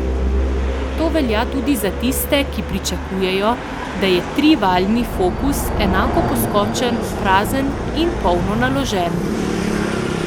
To velja tudi za tiste, ki pričakujejo, da je trivaljni focus enako poskočen prazen in polno naložen.